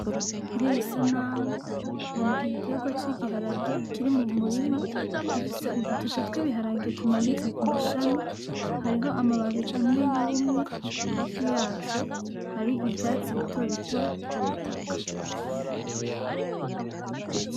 Kuriyi sanamu mbona igitegwa c'igiharage kiri mu murima gifise udutete tw'ibiharage tumanitse ku mashami, hariho amababi amwe yumye hafi yaco hari ivyatsi bitobito kubutaka.